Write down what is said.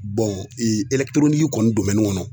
kɔni kɔnɔ